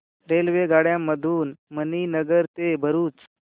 रेल्वेगाड्यां मधून मणीनगर ते भरुच